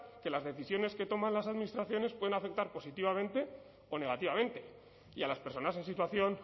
que las decisiones que toman las administraciones pueden afectar positivamente o negativamente y a las personas en situación